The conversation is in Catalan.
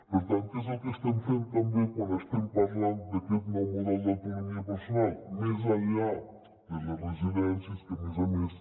per tant que és el que estem fent també quan estem parlant d’aquest nou mo·del d’autonomia personal més enllà de les residències que a més a més